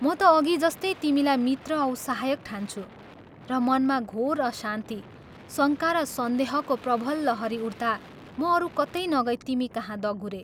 म ता अघि जस्तै तिमीलाई मित्र औ सहायक ठान्छु, र मनमा घोर अशान्ति, शङ्का र सन्देहको प्रबल लहरी उठ्ता म अरू कतै नगई तिमी कहाँ दगुरें।